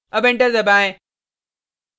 अब enter दबाएँ